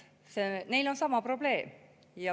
Neil on sama probleem.